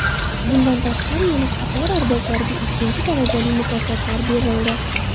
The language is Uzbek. Bundan tashqari, yana qator arboblarga ikkinchi darajali mukofotlar berildi.